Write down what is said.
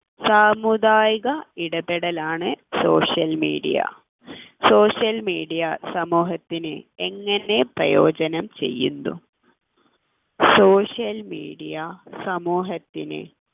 സാമുദായിക ഇടപെടലാണ് social media social media സമൂഹത്തിന് എങ്ങനെ പ്രയോജനം ചെയ്യുന്നു social media സമൂഹത്തിന്